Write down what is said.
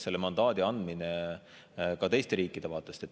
Selle mandaadi andmine on selles mõttes ka teiste riikide vaatest.